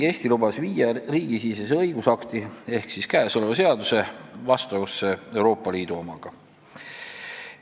Eesti lubas viia riigisisese õigusakti ehk käesoleva seaduse Euroopa Liidu omaga vastavusse.